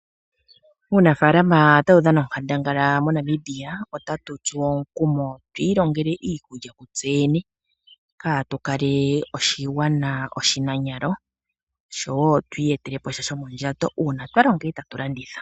Uunafalama otawu dhana onkandangala mo Namibia. Otatu tsuwa omukumo tu ilongele iikulya ku tseyene katu kale oshigwana oshi nanyalo oshowo tu iye telepo sha shomondjato uuna twa longa etatu landitha.